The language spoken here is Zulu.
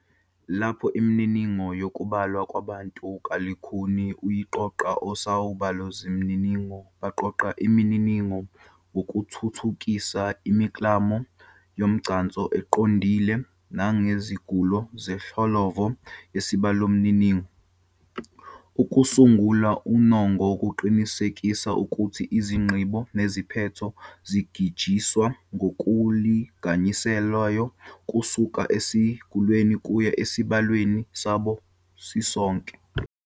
Lapho imininingo yokubalwa kwabantu kulukhuni ukuyiqoqa, osozibalomininingo baqoqa imininingo ngokuthuthukisa imiklamo yomgcanso eqondile nezangulo zenhlolovo yesibalomininingo. Ukusangula unongo kuqinisekisa ukuthi izigqibo neziphetho zingajijiswa ngokulinganiselayo kusuka esangulweni kuya esibalweni sabo sisonke.